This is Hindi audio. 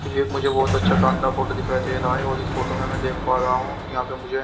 एक मुझे बहुत अच्छा शानदार फोटो दिखाई दे रहा है और इस फोटो में मैं देख पा रहा हूं कि यहां पर मुझे --